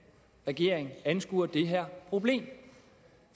regeringen anskuer det her problem